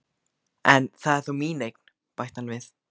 En það er þó mín eign, bætti hann við.